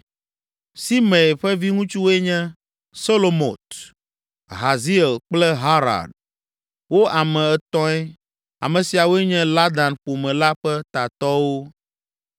Simei ƒe viŋutsuwoe nye, Selomot, Haziel kple Haran. Wo ame etɔ̃e. Ame siawoe nye Ladan ƒome la ƒe tatɔwo.